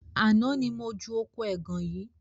Àná ni mo ju oko ẹgàn yìí